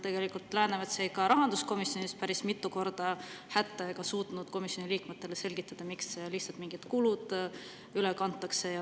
Tegelikult jäi Läänemets ka rahanduskomisjonis päris mitu korda hätta ega suutnud komisjoni liikmetele selgitada, miks mingid kulud lihtsalt üle kantakse.